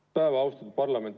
Tere päevast, austatud parlament!